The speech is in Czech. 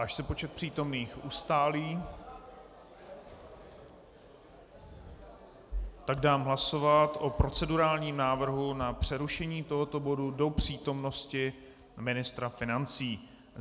Až se počet přítomných ustálí, tak dám pracovat o procedurálním návrhu na přerušení tohoto bodu do přítomnosti ministra financí.